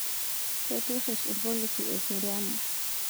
Keitirish ilpolisi eseriani